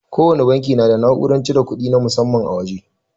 Kowana banki na da na'urar cire kudi na musamman a waje.